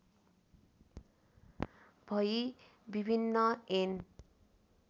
भई विभिन्न ऐन